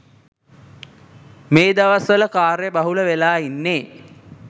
මේ දවස්වල කාර්යබහුල වෙලා ඉන්නේ.